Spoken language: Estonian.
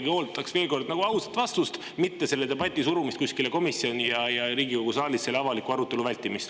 Ma ikkagi ootaks veel kord nagu ausat vastust, mitte selle debati surumist kuskile komisjoni ja Riigikogu saalis avaliku arutelu vältimist.